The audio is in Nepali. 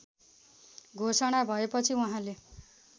घोषणा भएपछि उहाँले